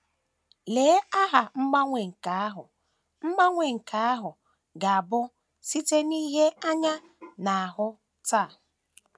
Lee aha mgbanwe nke ahụ mgbanwe nke ahụ ga - abụ site n’ihe anyị na - ahụ taa!